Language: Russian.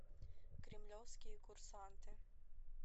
кремлевские курсанты